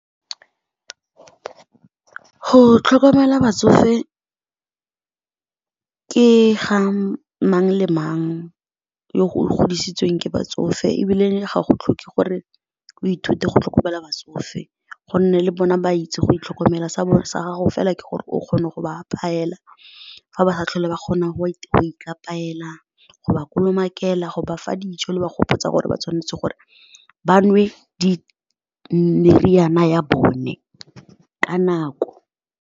Go tlhokomela batsofe ke ga mang le mang yo o godisitsweng ke batsofe ebile le gago tlhoke gore o ithute go tlhokomela batsofe gonne le bona ba itse go itlhokomela sa bone sa gago fela ke gore o kgone go ba apayela fa ba sa tlhole ba kgona go ikapayela, go ba kolomakela, go bafa ditso le ba gopotsa gore ba tshwanetse gore ba nwe meriana ya bone ka nako.